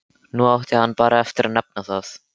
Nú átti hann bara eftir að nefna það.